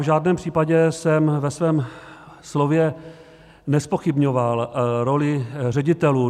V žádném případě jsem ve svém slově nezpochybňoval roli ředitelů.